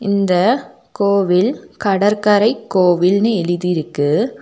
இந்த கோவில் கடற்கரை கோவில்னு எழுதிருக்கு.